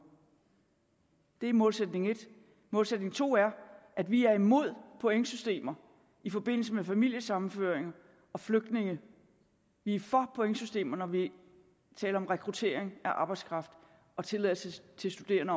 det er målsætning et målsætning to er at vi er imod pointsystemer i forbindelse med familiesammenføringer og flygtninge vi er for pointsystemer når vi taler om rekruttering af arbejdskraft og tilladelse til studerende